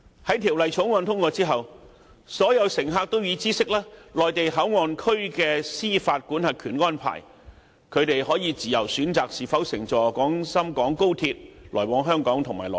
在《條例草案》通過後，所有乘客都會知悉內地口岸區的司法管轄權安排，可以自由選擇是否乘坐廣深港高鐵來往香港和內地。